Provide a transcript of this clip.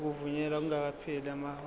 ukuvunyelwa kungakapheli amahora